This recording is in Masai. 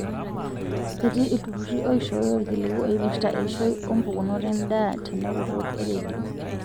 Etii iltururi oishooyo ilkiliku oipirta eishoi oo mpukunot endaa tenekutuk e rendio